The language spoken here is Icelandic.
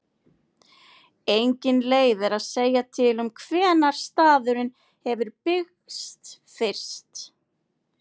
Engin leið er að segja til um hvenær staðurinn hefur byggst fyrst.